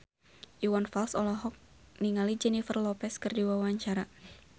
Iwan Fals olohok ningali Jennifer Lopez keur diwawancara